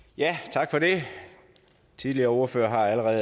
tak til ordføreren